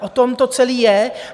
O tom to celé je.